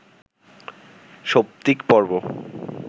সৌপ্তিকপর্ব